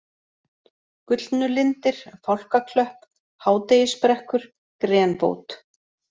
Gullnulindir, Fálkaklöpp, Hádegisbrekkur, Grenbót